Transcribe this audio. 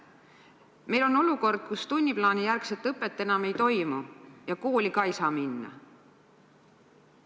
Meil on olukord, kus tunniplaanijärgset õpet enam ei toimu ja kooli ka ei saa minna.